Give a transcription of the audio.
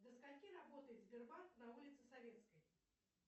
до скольки работает сбербанк на улице советской